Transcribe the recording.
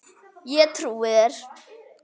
Ég trúi þér